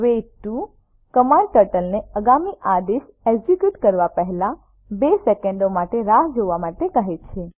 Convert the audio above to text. weight 2 command ટર્ટલને આગામી આદેશ એકઝીક્યુટ કરવા પહેલા 2 સેકન્ડો માટે રાહ જોવા માટે કહે છે